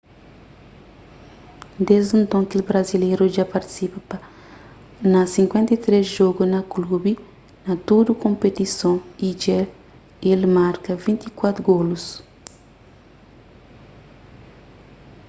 desdi nton kel brazileru dja partisipa na 53 jogu pa klubi na tudu konpetison y dja el marka 24 golus